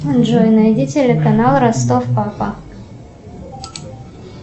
джой найди телеканал ростов папа